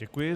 Děkuji.